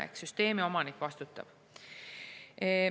Ehk süsteemi omanik vastutab.